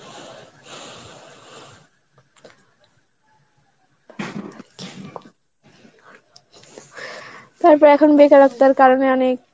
তারপর এখন বেকারত্বের কারণে অনেক